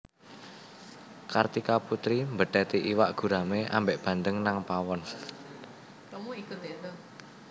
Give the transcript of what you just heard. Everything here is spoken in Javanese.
Kartika Putri mbetheti iwak gurame ambek bandeng nang pawon